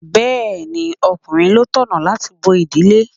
Bẹẹni, ọkùnrin ló tọ̀nà láti bó ìdílé.